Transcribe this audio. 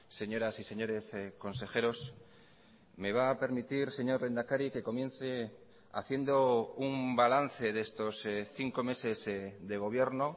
señoras y señores consejeros me va a permitir señor lehendakari que comience haciendo un balance de estos cinco meses de gobierno